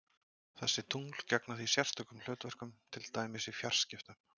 Þessi tungl gegna því sérstökum hlutverkum, til dæmis í fjarskiptum.